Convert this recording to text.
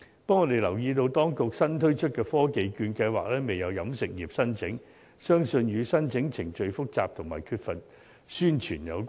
不過，我們留意到當局新推出的科技券計劃，仍未有飲食業作出申請，相信與申請程序複雜和缺乏宣傳有關。